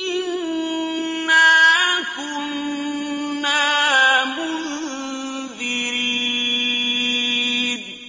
إِنَّا كُنَّا مُنذِرِينَ